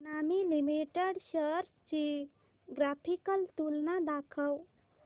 Emami limited shares ची graphical तुलना दाखव